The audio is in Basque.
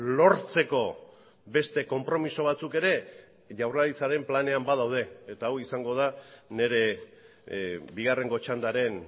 lortzeko beste konpromiso batzuk ere jaurlaritzaren planean badaude eta hau izango da nire bigarrengo txandaren